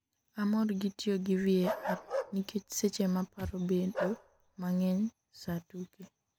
amor gi tiyo gi VAR nikech seche ma paro bedo mang'eny sa tuke